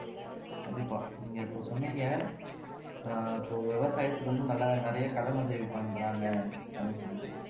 கண்டிப்பா நீங்க இப்ப சொன்னீங்க ஆஹ் இப்போ விவசாயத்துக்கு வந்து நல்லா நிறையா கடன் உதவி பண்றாங்க அப்படின்னு சொல்லிட்டு